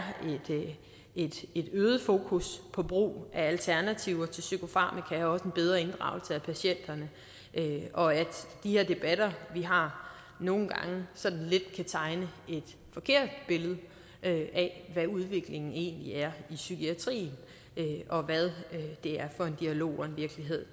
et øget fokus på brug af alternativer til psykofarmaka og også en bedre inddragelse af patienterne og at de her debatter vi har nogle gange sådan lidt kan tegne et forkert billede af hvad udviklingen egentlig er i psykiatrien og hvad det er for en dialog og virkelighed